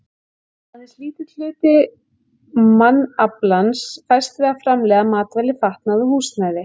Aðeins lítill hluti mannaflans fæst við að framleiða matvæli, fatnað og húsnæði.